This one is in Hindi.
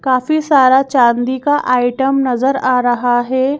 काफी सारा चांदी का आइटम नजर आ रहा है।